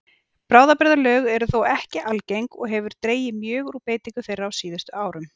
Bráðabirgðalög eru þó ekki algeng og hefur dregið mjög úr beitingu þeirra á síðustu árum.